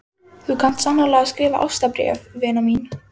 Þú kant sannarlega að skrifa ástarbréf, vina mín.